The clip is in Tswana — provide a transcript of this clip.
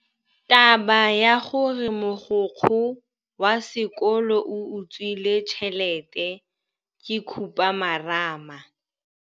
Taba ya gore mogokgo wa sekolo o utswitse tšhelete ke khupamarama.